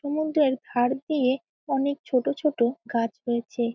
সমুদ্রের ধার দিয়ে অনেক ছোট ছোট গাছ রয়েছে।